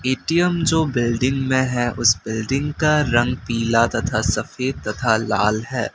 ATM जो building में है उस बिल्डिंग का रंग पिला तथा सफेद तथा लाल है।